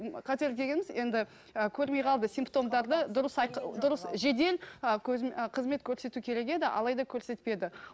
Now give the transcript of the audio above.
м қателік дегеніміз енді і көрмей қалды симптомдарды дұрыс дұрыс жедел ы қызмет көрсету керек еді алайда көрсетпеді